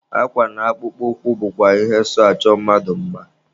Akwa na akpụkpọ ụkwụ bụkwa ihe so achọ mmadụ mma.